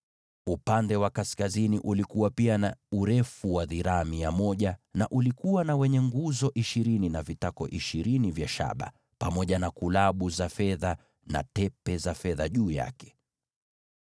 Upande wa kaskazini ulikuwa na urefu wa dhiraa mia moja, pamoja na nguzo ishirini na vitako vya shaba ishirini, pamoja na kulabu na tepe za fedha juu ya hizo nguzo.